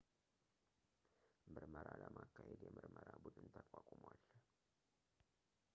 ምርመራ ለማካሄድ የምርመራ ቡድን ተቋቁሟል